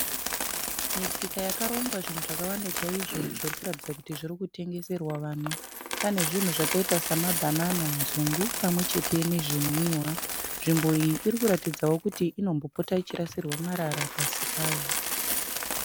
Misika yakarongwa zvinhu zvakawanda chaizvo zvirikuratidza kuti zvirikutengeserwa vanhu. Pane zvinhu zvakaita semabhanana, nzungu pamwechete nezvimwiwa. Nzvimbo iyi irikuratidza kuti inombopotawo ichirasirwa marara pasi payo.